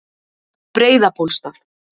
Breiðabólstað